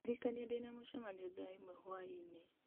ndirikania ndĩna mũcemanio thaa ĩmwe hwaĩ-inĩ